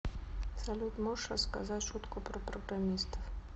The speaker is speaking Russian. салют можешь рассказать шутку про программистов